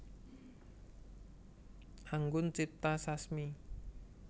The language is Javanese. Anggun Cipta Sasmi